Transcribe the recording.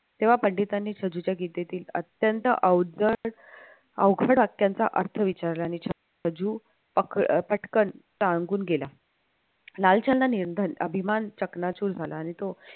तेव्हा पंडितांनी गीतेतील अत्यंत अवघड अवघड वाक्यांचा अर्थ विचारला छज्जू पटकन सांगून गेला लालचंदा निंधन अभिमान चकणाचुर झाला आणि तो